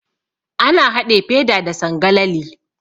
Ana haɗe feda da sangalali.